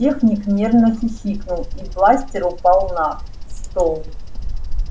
техник нервно хихикнул и бластер упал на стол